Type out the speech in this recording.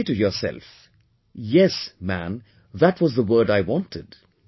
And you say to yourself Yes, Man, that was the word I wanted